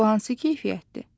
Bu hansı keyfiyyətdir?